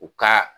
U ka